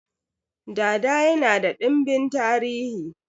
Dada yana da dimbin tarihi